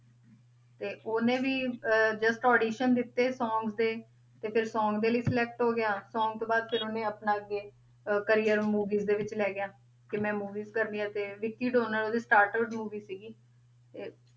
ਤੇ ਉਹਨੇ ਵੀ ਅਹ just audition ਦਿੱਤੇ song ਤੇ ਫਿਰ song ਦੇ ਲਈ select ਹੋ ਗਿਆ song ਤੋਂ ਬਾਅਦ ਫਿਰ ਉਹਨੇ ਆਪਣਾ ਅੱਗੇ ਅਹ career movie ਦੇ ਵਿੱਚ ਲੈ ਗਿਆ, ਕਿ ਮੈਂ movies ਕਰਨੀਆਂ ਤੇ ਵਿੱਕੀ ਡੋਨਰ ਉਹਦੀ starter movie ਸੀਗੀ ਤੇ